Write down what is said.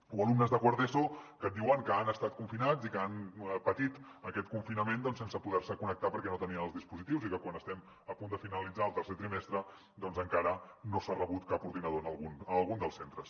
o alumnes de quart d’eso que et diuen que han estat confinats i que han patit aquest confinament doncs sense poder se connectar perquè no tenien els dispositius i que quan estem a punt de finalitzar el tercer trimestre encara no s’ha rebut cap ordinador en algun dels centres